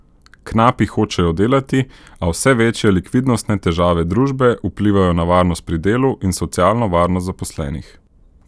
Knapi hočejo delati, a vse večje likvidnostne težave družbe vplivajo na varnost pri delu in socialno varnost zaposlenih.